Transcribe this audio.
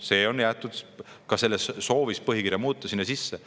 " See on jäetud ka selles soovis põhikirja muuta sinna sisse.